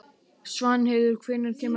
Svanheiður, hvenær kemur ásinn?